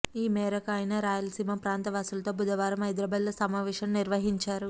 ఈమేరకు ఆయన రాయలసీమ ప్రాంత వాసులతో బుధవారం హైదరాబాద్లో సమావేశం నిర్వహించారు